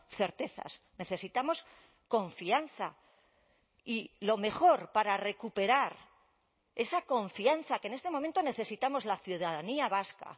certezas necesitamos confianza y lo mejor para recuperar esa confianza que en este momento necesitamos la ciudadanía vasca